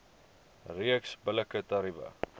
reeks billike tariewe